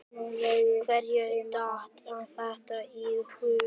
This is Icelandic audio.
Hverjum datt þetta í hug?